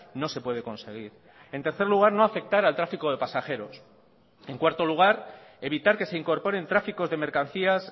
no se puede conseguir en tercer lugar no afectar al tráfico de pasajeros en cuarto lugar evitar que se incorporen tráficos de mercancías